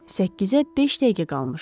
Səkkizə beş dəqiqə qalmışdı.